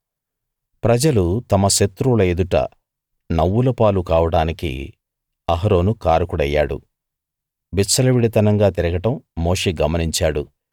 ప్రజలు తమ శత్రువుల ఎదుట నవ్వులపాలు కావడానికి అహరోను కారకుడయ్యాడు ప్రజలు విచ్చలవిడితనంగా తిరగడం మోషే గమనించాడు